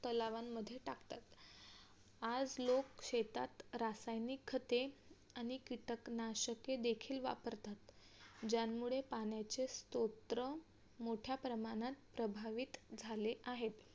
आज लोक शेतात रासायनिक खते आणि कीटक नाशके देखील वापरतात. ज्यामुळे पाण्याचे स्त्रोत्र मोठ्या प्रमाणात प्रभावित झाले आहेत.